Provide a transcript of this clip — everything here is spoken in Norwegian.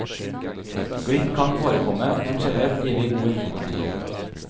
Glipp kan forekomme, men generelt gir vi god informasjon.